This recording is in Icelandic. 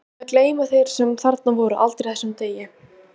Líklega gleyma þeir sem þarna voru aldrei þessum degi.